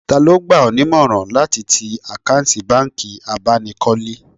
Taa ló gbà ọ́ nímọ̀ràn láti ti àkáǹtì bánkì abánikọ́lé